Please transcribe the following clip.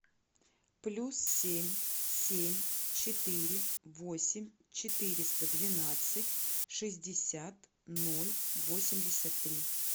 плюс семь семь четыре восемь четыреста двенадцать шестьдесят ноль восемьдесят три